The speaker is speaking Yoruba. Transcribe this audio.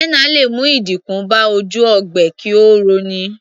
Henna lè mú ìdínkù bá ojú ogbe kí ó rọ ní.